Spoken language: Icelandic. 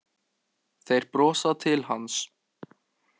Þeir brosa til hans.